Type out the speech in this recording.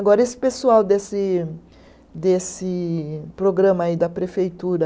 Agora, esse pessoal desse desse programa aí da prefeitura...